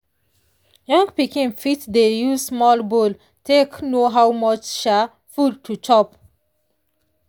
young pikin fit dey use small bowl take know how much um food to chop.